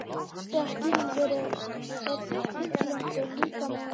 Hluti af skýringunni er trygglyndi líkama og hugar.